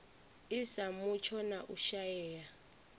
sa mutsho na u shaea